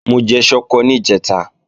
Mo jẹ ṣọkọ níjẹ̀ta